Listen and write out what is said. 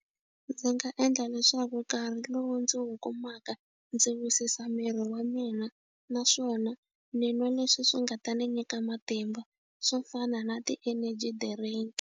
Ndzi nga endla leswaku nkarhi lowu ndzi wu kumaka ndzi wisisa miri wa mina naswona ni n'wa leswi swi nga ta ni nyika matimba swo fana na ti-energy drink.